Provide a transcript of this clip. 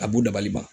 A b'u dabali ban